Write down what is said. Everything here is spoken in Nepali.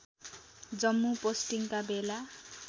जम्मु पोस्टिङका बेला